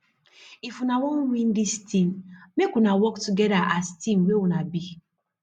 if una wan win dis tin make una work togeda as team wey una be